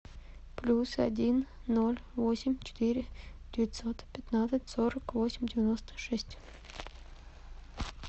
плюс один ноль восемь четыре девятьсот пятнадцать сорок восемь девяносто шесть